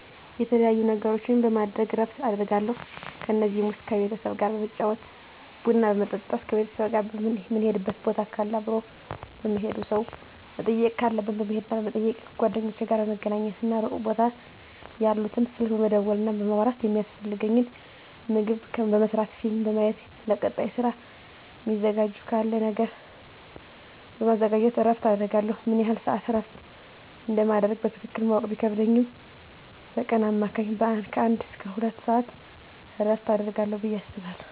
የተለያዩ ነገሮችን በማድረግ እረፍት አደርጋለሁ ከነዚህም ውስጥ ከቤተሰብ ጋር በመጫወት ቡና በመጠጣት ከቤተሰብ ጋር ምንሄድበት ቦታ ካለ አብሮ በመሄድ ሰው መጠየቅ ካለብን በመሄድና በመጠየቅ ከጓደኞቼ ጋር በመገናኘትና ሩቅ ቦታ ያሉትን ስልክ በመደወልና በማውራት የሚያስፈልገኝን ምግብ በመስራት ፊልም በማየት ለቀጣይ ስራ ሚዘጋጅ ነገር ካለ በማዘጋጀት እረፍት አደርጋለሁ። ምን ያህል ስዓት እረፍት እንደማደርግ በትክክል ማወቅ ቢከብድም በቀን በአማካኝ ከአንድ እስከ ሁለት ሰዓት እረፍት አደርጋለሁ ብየ አስባለሁ።